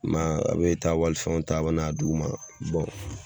I ma ye ,a bɛ taa walifɛnw ta ,a bɛna di u ma